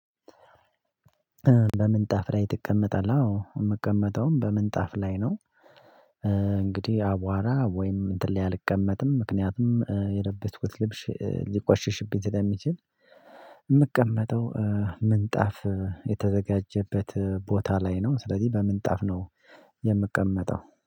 በምንጣፍ ላይ ትቀመጣለህ? አዎ የምቀመጠውም በምንጣፍ ላይ ነው። እንግዲህ አቧራ ወይም እንትን ላይ አልቀመጥም ምክንያቱም የለበስኩት ልብስ ሊቆሽሽብኝ ስለሚችል። የምቀመጠው ምንጣፍ የተዘጋጀበት ቦታ ላይ ነው። ስለዚህ በምንጣፍ ነው። የምቀመጠው